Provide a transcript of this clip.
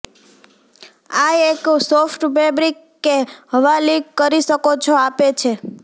આ એક soft fabric કે હવા લીક કરી શકો છો આપે છે